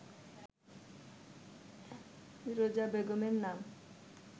ফিরোজা বেগমের নাম